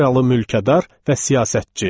Avstriyalı mülkədar və siyasətçi.